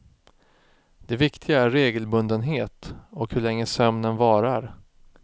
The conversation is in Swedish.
Det viktiga är regelbundenhet och hur länge sömnen varar.